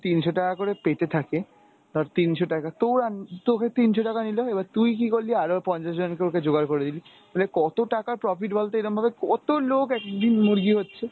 তিনশ ‍টাকা করে পেতে থাকে ধর তিনশ টাকা তো~ তোকে তিনশ টাকা নিল এবার তুই কি করলি আরো পঞ্চাশজনকে ওকে জোগাড় করে দিলি ফলে কত টাকা profit বলতো এরমভাবে কত লোক একদিন মুরগি হচ্ছে!